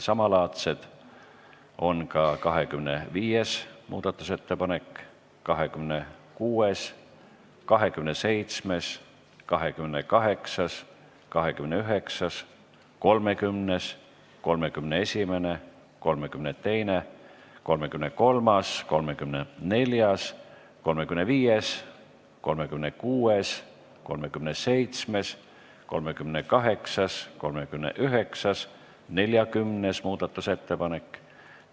Samalaadsed on ka 25., 26., 27., 28., 29., 30., 31., 32., 33., 34., 35., 36., 37., 38., 39. ja 40. muudatusettepanek.